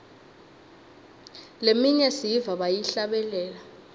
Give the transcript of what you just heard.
leminye siyiva bayihlabelela